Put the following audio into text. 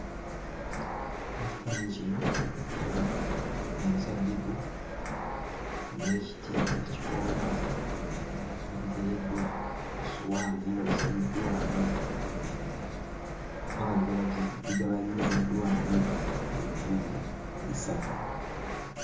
Mu kifaananyi kino ndaba omuzabibu n'ekiti ekikoona nga biteereddwa ku ssowaani era nga bisaliddwamu oba nga bigabanyiziddwamu ebitundu bisatu.